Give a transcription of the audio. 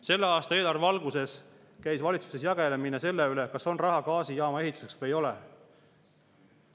Selle aasta eelarve valguses käis valitsuses jagelemine selle üle, kas on raha gaasijaama ehituseks või ei ole.